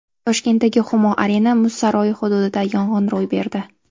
Toshkentdagi Humo Arena muz saroyi hududida yong‘in ro‘y berdi.